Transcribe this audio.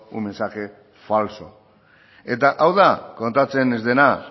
un mensaje falso eta hau da kontatzen ez dena